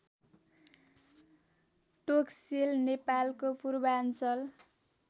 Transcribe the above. टोक्सेल नेपालको पूर्वाञ्चल